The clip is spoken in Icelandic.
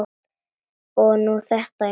Og nú þetta, já.